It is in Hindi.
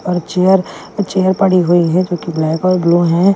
और चेयर चेयर पड़ी हुई है जो कि ब्लैक और ब्लू हैं।